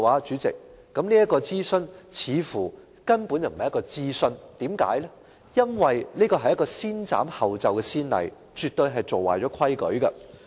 主席，這根本不是諮詢，因為這立下"先斬後奏"的先例，絕對是做壞規矩。